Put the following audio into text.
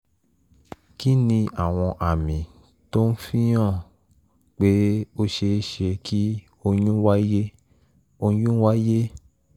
kí ni àwọn àmì tó ń fi hàn pé ó ṣeé ṣe kí oyún wáyé? oyún wáyé?